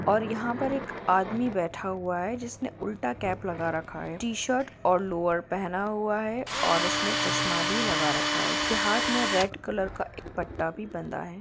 और यहां पर एक आदमी बैठा हुआ है जिसने उल्टा कैप लगा रखा है टीशर्ट और लोअर पहना हुआ है और इसने चष्मा भी लगा रखा है। यह हाथ में एक रेड कलर का पट्टा भी बंधा है |